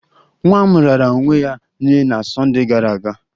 Nwa m raara onwe ya nye na Sunday gara aga